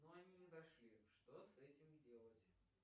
но они не дошли что с этим делать